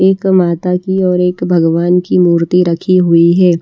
एक माता कि एक भगवान कि मूर्ति रखी हुई है।